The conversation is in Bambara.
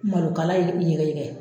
Malokala yɛgɛ yɛgɛ